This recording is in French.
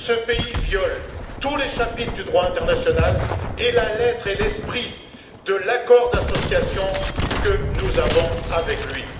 Ce pays viole tous les chapitres du droit international ainsi que la lettre et l'esprit de l'accord d'association que nous avons avec lui.